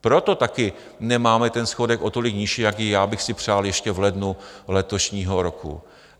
Proto taky nemáme ten schodek o tolik nižší, jaký já bych si přál ještě v lednu letošního roku.